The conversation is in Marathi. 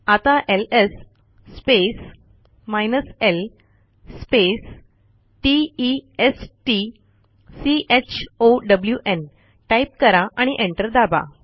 आता LS space l space t e s t c h o w न् टाईप करा आणि एंटर दाबा